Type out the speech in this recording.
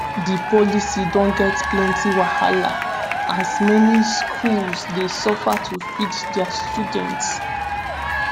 di policy don get plenti wahala as many schools dey suffer to feed di students.